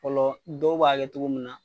Fɔlɔ dɔw b'a kɛ cogo mun na.